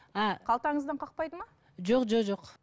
а қалтаңыздан қақпайды ма жоқ жоқ